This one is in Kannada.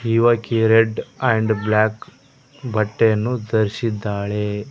ಇವಾಕಿ ರೆಡ್ ಆಂಡ್ ಬ್ಲಾಕ್ ಬಟ್ಟೆಯನ್ನು ಧರಿಸಿದ್ದಾಳೆ.